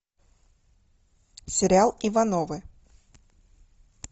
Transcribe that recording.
сериал ивановы